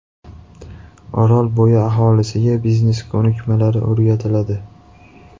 Orolbo‘yi aholisiga biznes ko‘nikmalari o‘rgatiladi.